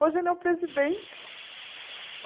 Hoje ele é o presidente.